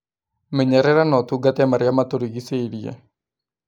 Menyerera na ũtungate marĩa matũrigicĩirie